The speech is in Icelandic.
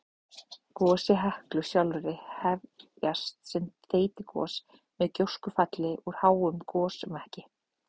Gos í Heklu sjálfri hefjast sem þeytigos með gjóskufalli úr háum gosmekki.